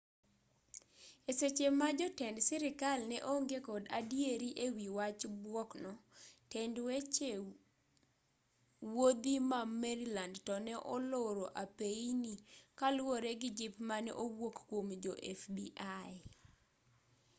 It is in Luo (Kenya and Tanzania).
e seche ma jotend sirkal ne onge kod adieri e wi wach buok no tend weche wuodhi ma maryland to ne oloro apeyini kaluwore gi jip mane owuok kuom jo fbi